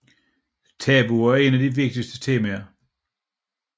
Tabuer er en af de vigtigste temaer